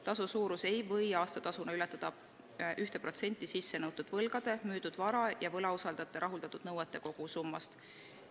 Tasu suurus ei või aastatasuna ületada 1% sissenõutud võlgade, müüdud vara ja võlausaldajate rahuldatud nõuete kogusummast.